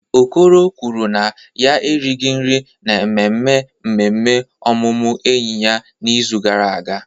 Okoro kwuru na ya erighị nri n'ememme mmemme ọmụmụ enyi ya n'izu gara aga.